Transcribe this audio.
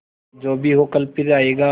जो भी हो कल फिर आएगा